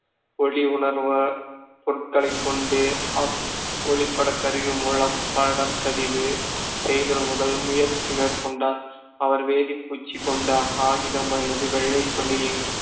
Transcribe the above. ஒளி உணர்வு பொருட்களைக் கொண்டு அப்~ ஒளிப்படக் கருவி மூலம் பாடப்பதிவு செய்தல் முதல் முயற்சி மேற்கொண்டார் அவர் வேதிப்பூச்சு கொண்ட காகிதம் அல்லது வெள்ளைத் தொழில்